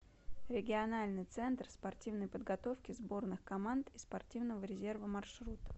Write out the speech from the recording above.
региональный центр спортивной подготовки сборных команд и спортивного резерва маршрут